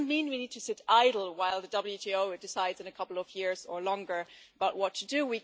That doesn't mean we need to sit idle while the WTO decides in a couple of years or longer about what to do.